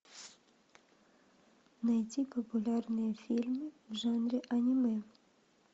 найди популярные фильмы в жанре аниме